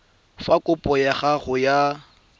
fa kopo ya gago ya